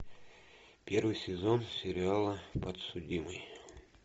первый сезон сериала подсудимый